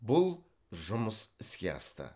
бұл жұмыс іске асты